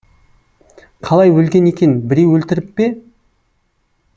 қалай өлген екен біреу өлтіріп пе